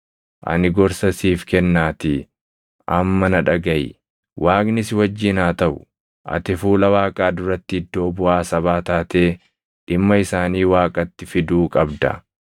Ani gorsa siif kennaatii amma na dhagaʼi; Waaqni si wajjin haa taʼu. Ati fuula Waaqaa duratti iddoo buʼaa sabaa taatee dhimma isaanii Waaqatti fiduu qabda.